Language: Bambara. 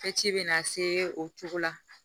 ci bɛna se o cogo la